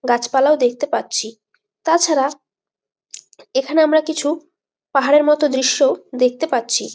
গাছপালা ও দেখতে পাচ্ছি তাছাড়া এখানে আমরা কিছু পাহাড়ের মত দৃশ্য দেখতে পাচ্ছি।